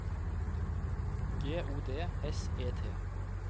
G O D S E T